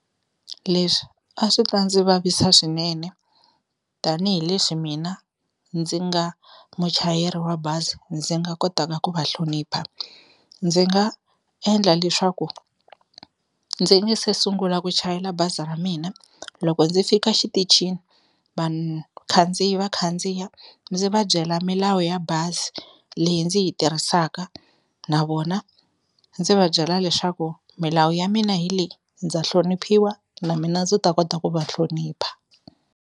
Leswi a swi ta ndzi vavisa swinene tanihileswi mina ndzi nga muchayeri wa bazi ndzi nga kotaka ku va hlonipha, ndzi nga endla leswaku ndzi nge se sungula ku chayela bazi ra mina loko ndzi fika xitichini, vanhu khandziyi va khandziya ndzi va byela milawu ya bazi leyi ndzi yi tirhisaka na vona ndzi va byela leswaku milawu ya mina hi leyi ndza hloniphiwa na mina ndzi ta kota ku va hlonipha.